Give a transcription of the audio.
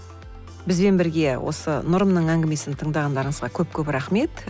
бізбен бірге осы нұрымның әңгімесін тыңдағандарыңызға көп көп рахмет